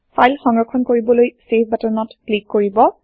file সংৰক্ষণ কৰিবলৈ save বাটনত ক্লিক কৰিব